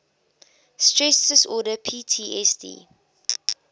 stress disorder ptsd